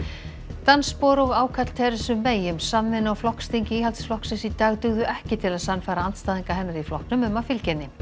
dansspor og ákall May um samvinnu á flokksþingi Íhaldsflokksins í dag dugðu ekki til að sannfæra andstæðinga hennar í flokknum um að fylgja henni